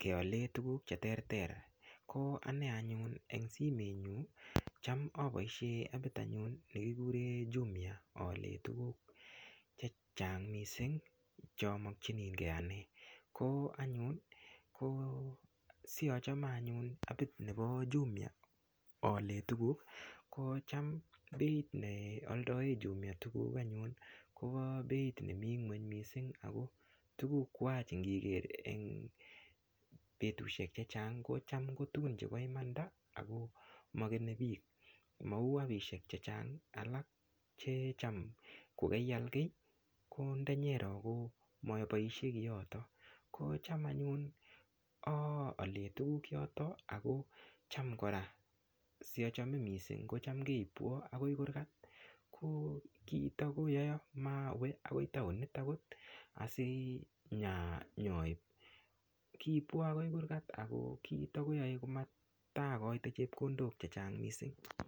keale tukuuk cheterter ko ane anyun eng simet nyu ko cham apoishe apit anyun nekikure jumia aalen tukuuk checheang mising chomokchinigei ane ko anyun ko sia chame anyun ane apit nepo jumia aalen tukuuk ko cham beit nealdae jumia tukuuk anyun kopo beit nemii ng'weny mising ako tukuuk kwach ngiker eng petushek chechang kocham kotukun chepo imanda ako makenei piik mau apishek chechang alak checham kokeial kiy ko ndenyero komapaishei kiotok ko cham anyun ale tukuuk yoto ako cham kora siachame mising kocham keipwo akoi kurkat ko kiito koyoa mawe akoi taonit akot asi nyoip kiipwo akoi kurkat ako kiito koyoe matakoite chepkondok chechang mising .